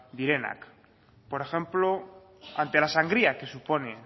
direnak por ejemplo ante la sangría que supone